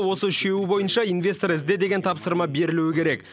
осы үшеуі бойынша инвестор ізде деген тапсырма берілуі керек